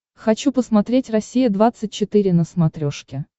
хочу посмотреть россия двадцать четыре на смотрешке